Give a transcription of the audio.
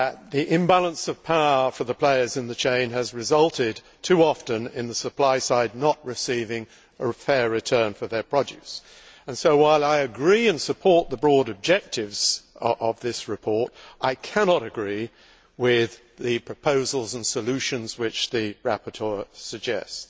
The imbalance of power between the players in the chain has resulted too often in the supply side not receiving a fair return for their produce and so, while I agree with and support the broad objectives of this report, I cannot agree with the proposals and solutions which the rapporteur suggests.